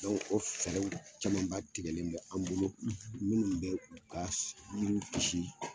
Dɔnku o fɛrɛw caman ba tigɛlen bɛ an bolo minnu bɛ ka yiriw kisi